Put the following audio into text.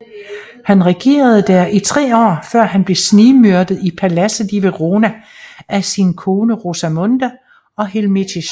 Han regerede der i tre år før han blev snigmyrdet i paladset i Verona af sin kone Rosamond og Hilmichis